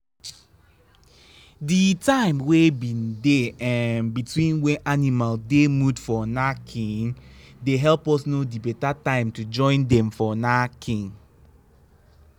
the time wey been dey um between when animal dey mood for knacking dey help us know the betta time to join dem for knacking.